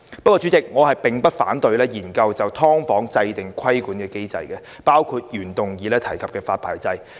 然而，主席，我並不反對就"劏房"研究制訂規管機制，包括原議案提及的發牌制度。